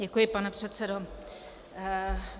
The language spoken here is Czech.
Děkuji, pane předsedo.